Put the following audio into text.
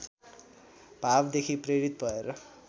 भावदेखि प्रेरित भएर